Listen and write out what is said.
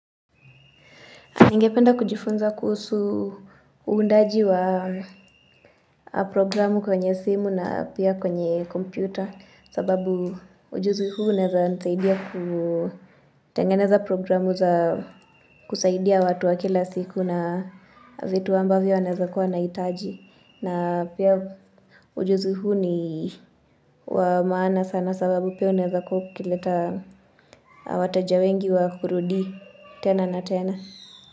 Ningependa kujifunza kuhusu undaji wa programu kwenye simu na pia kwenye kompyuta sababu ujuzi huu unaeza nisaidia kutengeneza programu za kusaidia watu wa kila siku na vitu ambavyo naeza kuwa nahitaji na pia ujuzi huu ni wa maana sana sababu pia unaeza kuwa ukileta wateja wengi wa kurudi tena na tena.